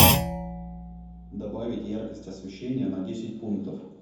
добавить яркость освещения на десять пунктов